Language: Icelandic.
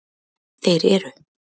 Þeir eru: